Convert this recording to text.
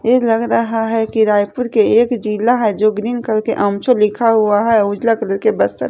ये लग रहा है कि रायपुर के एक जिला है जो ग्रीन कलर के लिखा हुआ है उजला कलर के बस पर--